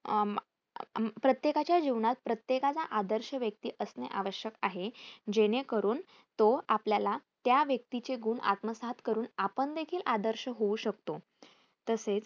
प्रत्येकाच्या जीवनात प्रत्येकाचा आदर्श व्यक्ती असणे आवश्यक आहे जेणेकरून तो आपल्याला त्या व्यक्तीचे गुण आत्मसात करून आपण देखील आदर्श होऊ शकतो. तसेच